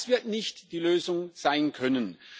Das wird nicht die Lösung sein können.